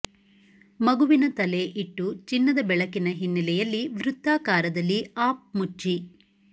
ಮಗುವಿನ ತಲೆ ಇಟ್ಟು ಚಿನ್ನದ ಬೆಳಕಿನ ಹಿನ್ನೆಲೆಯಲ್ಲಿ ವೃತ್ತಾಕಾರದಲ್ಲಿ ಅಪ್ ಮುಚ್ಚಿ